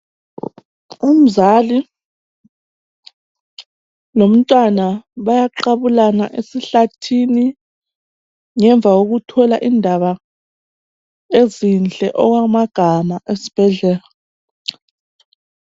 Umzali lomntwana bayaqabulana esihlathini, ngemva kokuthola indaba ezinhle okwamagama esbhedlela